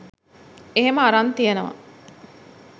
එහෙම අරන් තියෙනව